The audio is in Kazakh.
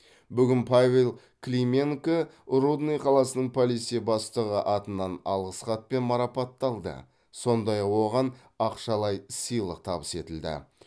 бүгін павел клименко рудный қаласының полиция бастығы атынан алғыс хатпен марапатталды сондай ақ оған ақшалай сыйлық табыс етілді